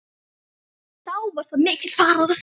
Þá var mikið fagnað.